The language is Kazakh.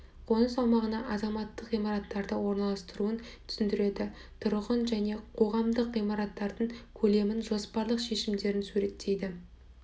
қоныс аумағына азаматтық ғимараттарды орналастыруын түсіндіреді тұрғын және қоғамдық ғимараттардың көлемдік жоспарлық шешімдерін суреттейді